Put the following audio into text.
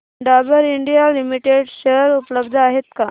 Dabur India limited share उपलब्ध आहेत का